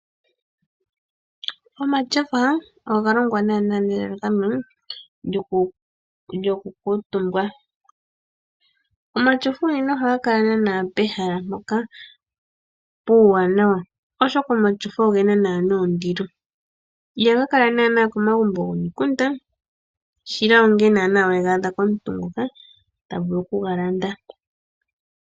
Omashofa oga longwa naana nelalakano lyoku kuutumbwa, omashofa ohaga kala naaa pehala mpoka puuwanawa oshoka omashofa oge na naana ondilo ihaga kala naana komagumbo goko mikunda shila onga naana wega adha komuntu ngoka ta vulu okuga landa.